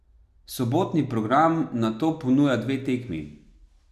Sobotni program nato ponuja dve tekmi.